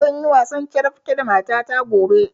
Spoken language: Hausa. Zanyi wasan carabke da mata ta gobe